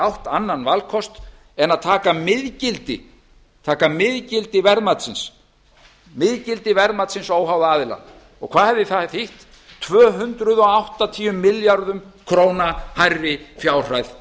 átt annan valkost en að taka miðgildi verðmatsins óháða aðila og hvað hefði það þýtt tvö hundruð áttatíu milljörðum króna hærri fjárhæð